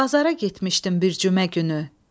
Bazara getmişdim bir cümə günü.